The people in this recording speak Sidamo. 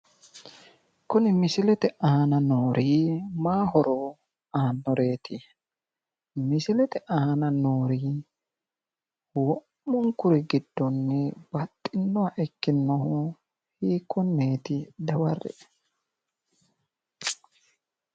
Kuni misilete aana noori maay horo aannoreeti? misilete aana noori wo'munkuri giddonni baxxinoha ikkinohu hikkoneeti dawarre"e